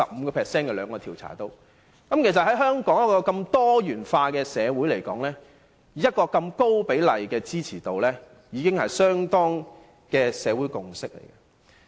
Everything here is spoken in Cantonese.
能在香港這個如此多元化的社會獲得這般高比例的支持度，已可確認為社會共識了。